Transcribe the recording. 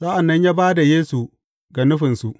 Sa’an nan ya ba da Yesu ga nufinsu.